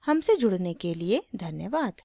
हमसे जुड़ने के लिए धन्यवाद